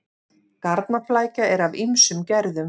Garnaflækja er af ýmsum gerðum.